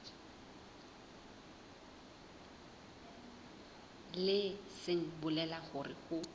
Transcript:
leng se bolelang hore ho